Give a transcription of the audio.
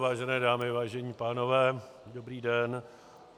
Vážené dámy, vážení pánové, dobrý den.